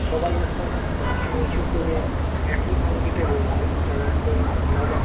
সবাই এখন মাথা নীচু করে একই ভঙ্গিতে রয়েছে। তারা এখন নামাজ --